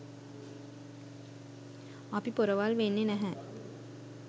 අපි පොරවල් වෙන්නෙ නැහැ.